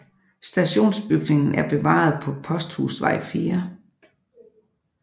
Stationsbygningen er bevaret på Posthusvej 4